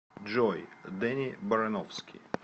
джой дэнни барановски